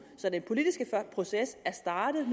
så den politiske proces er startet